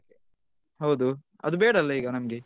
ಹೌದು ಅದು ಬೇಡ ಅಲ್ಲಾ ನಮ್ಗೆ .